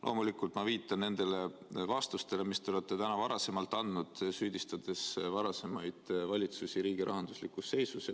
Loomulikult viitan ma nendele vastustele, mis te olete täna andnud, süüdistades varasemaid valitsusi riigi rahanduslikus seisus.